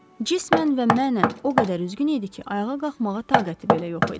Cismən və mənən o qədər üzgün idi ki, ayağa qalxmağa taqəti belə yox idi.